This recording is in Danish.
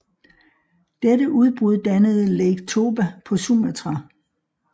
Dette udbrud dannede Lake Toba på Sumatra